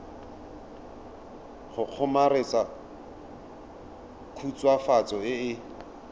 go kgomaretsa khutswafatso e e